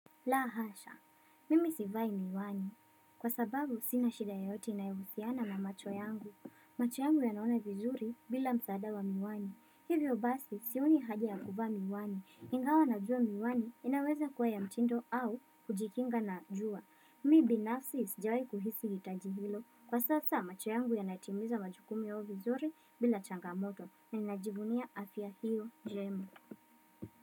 La hasha, mimi sivai miwani. Kwa sababu, sina shida yoyote inayohusiana na macho yangu. Macho yangu yanaona vizuri bila msaada wa miwani. Hivyo basi, sioni haja ya kuvaa miwani. Ingawa najua miwani, inaweza kuwa ya mtindo au kujikinga na jua. Mi binafsi sijawahi kuhisi hitaji hilo. Kwa sasa, macho yangu yanatimiza majukumu yao vizuri bila changamoto, na ninajivunia afya hiyo njema.